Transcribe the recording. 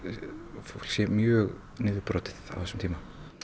fólk sé mjög niðurbrotið á þessum tíma